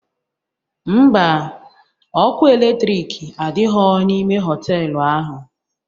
Mba, ọkụ eletrik adighọ n'ime họtelu ahụ